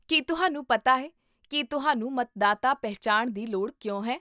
ਕੀ ਤੁਹਾਨੂੰ ਪਤਾ ਹੈ ਕੀ ਤੁਹਾਨੂੰ ਮਤਦਾਤਾ ਪਹਿਚਾਣ ਦੀ ਲੋੜ ਕਿਉਂ ਹੈ?